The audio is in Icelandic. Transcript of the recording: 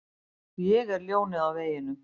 Ég er ljónið á veginum.